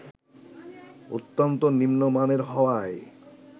অত্যন্ত নিম্নমানের হওয়ায়